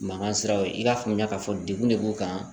Mankan siraw ye i n'a fɔ n y'a fɔ degun de b'u kan